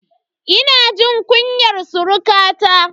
Ina jin kunyar surukata.